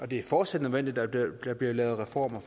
det er fortsat nødvendigt at der bliver lavet reformer